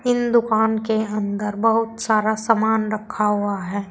इन दुकान के अंदर बहुत सारा सामान रखा हुआ है।